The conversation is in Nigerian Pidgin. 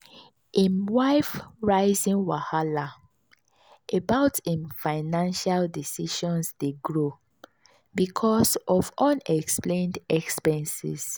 him wife rizin wahala about him financial decisions dey grow because of unexplained expenses.